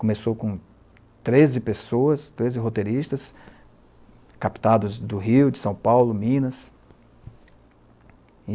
Começou com treze pessoas, treze roteiristas, captados do Rio, de São Paulo, Minas.